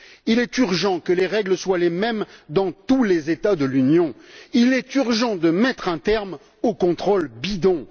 Il est urgent que les règles soient les mêmes dans tous les États de l'Union. Il est urgent de mettre un terme aux contrôles bidons.